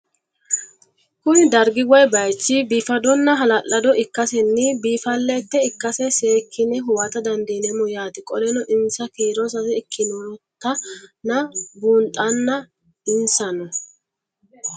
Kuni dargi woye bayich bifadona hala'lado ikasena bifaalet ikase sekine huwata dandinemo yaate qoleno insa kiiro sase ikinotana bunxana insano